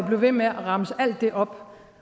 blive ved med at remse alt det op